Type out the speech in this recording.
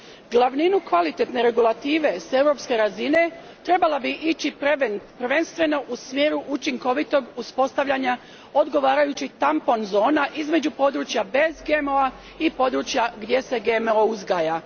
Glavnina kvalitetne regulative s europske razine trebala bi ići prvenstveno u smjeru učinkovitog uspostavljanja odgovarajućih tampon zona između područja bez GMO a i područja gdje se GMO uzgaja.